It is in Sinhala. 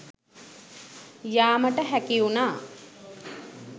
යාමට හැකිවුණා.